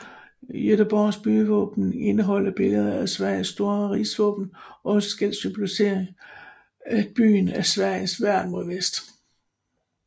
Göteborgs byvåben indeholder billeder fra Sveriges store rigsvåben og skal symbolisere at byen er Sveriges værn mod vest